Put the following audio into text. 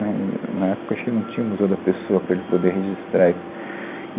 Né, e na época, acho que não tinha o Museu da Pessoa para ele poder registrar isso.